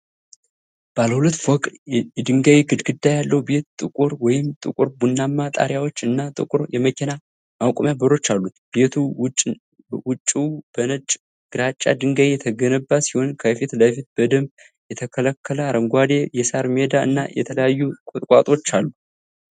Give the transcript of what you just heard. ባለ ሁለት ፎቅ የድንጋይ ግድግዳ ያለው ቤት፣ ጥቁር ወይም ጥቁር ቡናማ ጣሪያዎች እና ጥቁር የመኪና ማቆሚያ በሮች አሉት። ቤቱ ውጭው በነጭ/ግራጫ ድንጋይ የተገነባ ሲሆን፣ ከፊት ለፊቱ በደንብ የተስተካከለ አረንጓዴ የሣር ሜዳ እና የተለያዩ ቁጥቋጦዎች አሉ።